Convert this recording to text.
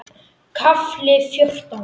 KAFLI FJÓRTÁN